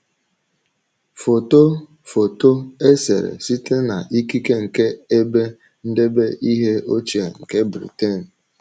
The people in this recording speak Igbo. Foto Foto e sere site n’ikike nke Ebe Ndebe Ihe Ochie nke Britain